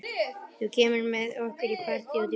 Þú kemur með okkur í partí út í bæ.